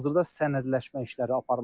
Hazırda sənədləşmə işləri aparılır.